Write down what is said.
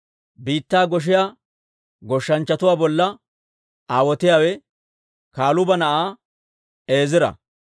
Biittaa goshiyaa goshshanchchatuwaa bolla aawotiyaawe Kaluuba na'aa Eezira.